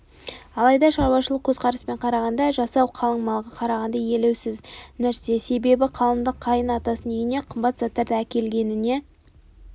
алайда шаруашылық көзқараспен қарағанда жасау қалың малға қарағанда елеусіз нәрсе себебі қалыңдық қайын атасының үйіне қымбат заттарды әкелгеніне